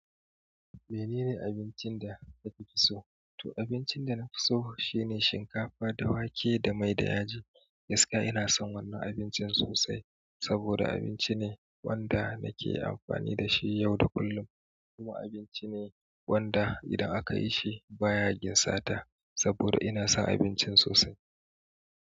Menene abincin da ka fi so? To abincin da na fi so shine shinkafa da wake da mai da yaji. Gaskiya ina son wannan abincin sosai saboda abinci ne wanda nake amfani da shi yau da kullum. Kuma abinci ne wanda idan akayi shi baya ginsata saboda ina son abincin sosai.